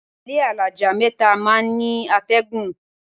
Ilé alájà mẹ́ta máa ń ní àtẹ̀gùn.